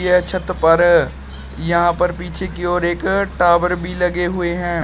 यह छत पर यहां पर पीछे की ओर एक टावर भी लगे हुए हैं।